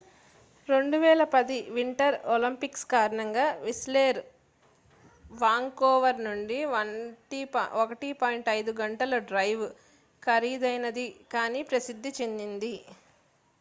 2010 winter Olympics కారణంగా Whistler Vancouver నుండి 1.5 గంటల డ్రైవ్ ఖరీదైనది కాని ప్రసిద్ధి చెందింది